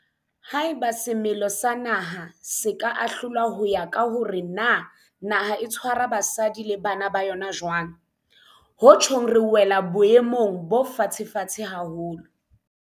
Haeba semelo sa naha se ka ahlolwa ho ya ka hore na naha e tshwara basadi le bana ba yona jwang, ho tjhong re wela boemong bo fatshefatshe haholo.